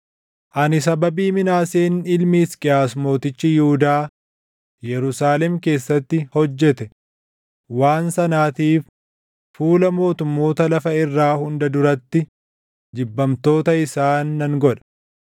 Ani sababii Minaaseen ilmi Hisqiyaas mootichi Yihuudaa Yerusaalem keessatti hojjete waan sanaatiif fuula mootummoota lafa irraa hunda duratti jibbamtoota isaan nan godha.